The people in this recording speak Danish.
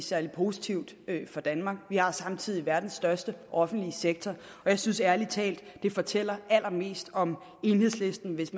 særlig positiv for danmark vi har samtidig verdens største offentlige sektor jeg synes ærlig talt det fortæller allermest om enhedslisten hvis